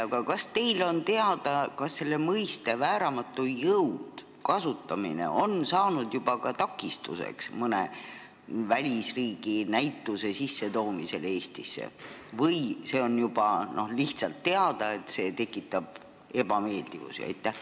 Aga kas teile on teada, kas selle mõiste "vääramatu jõud" kasutamine on saanud juba ka takistuseks mõne välisriigi näituse Eestisse sissetoomisele või on lihtsalt teada, et see tekitab ebameeldivusi?